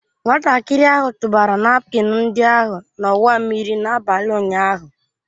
Nwatakịrị ahụ tụbara napkin ndị ahụ n'ọwa mmiri n'abalị ụnyaahụ